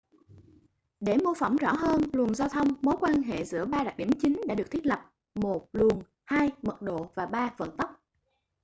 để mô phỏng rõ hơn luồng giao thông mối quan hệ giữa ba đặc điểm chính đã được thiết lập: 1 luồng 2 mật độ và 3 vận tốc